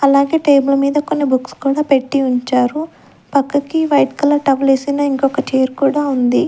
అలాగే టేబుల్ మీద కొన్ని బుక్స్ కూడా పెట్టి ఉంచారు పక్కకి వైట్ కలర్ టవల్ వేసిన ఇంకొక చైర్ కూడా ఉంది.